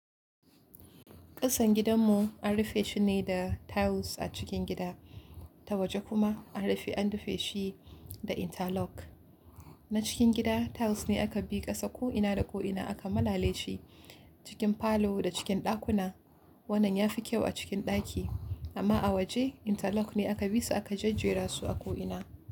Ƙasan gidanmu an rufe shi ne da tiles a cikin gida, ta waje kuma an rufe an rufe shi da interlock. Na cikin gida tiles ne aka bi ƙasa ko'ina da ko'ina aka malale shi cikin falo da cikin ɗakuna. Wannan ya fi kyau a cikin ɗaki amma a waje interlock ne aka bi su aka jajjera su a ko'ina.